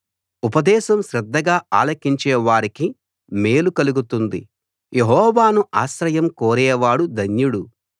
ఉపదేశం శ్రద్ధగా ఆలకించే వారికి మేలు కలుగుతుంది యెహోవాను ఆశ్రయం కోరేవాడు ధన్యుడు